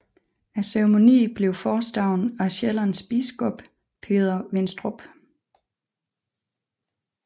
Ceremonien blev forestået af Sjællands biskop Peder Vinstrup